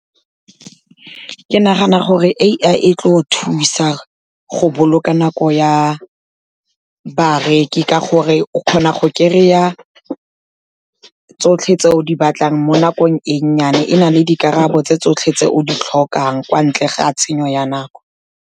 Ke nagana gore A_I e tlo thusa go boloka nako ya bareki ka gore, o kgona go kry-a tsotlhe tse o di batlang mo nakong e nnyane, e na le dikarabo tse tsotlhe tse o di tlhokang, kwa ntle ga tshenyo ya nako.